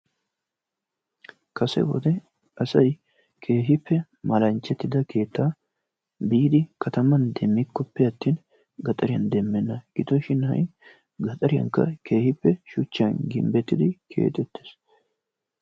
Kase wode asay keehippe malanchchatida keettaa biidi kataman demikkoppe attin gaxariyan demenna gidoshin ha'i gaxariyankka keehippe shuchchan gimbetidi keexettees.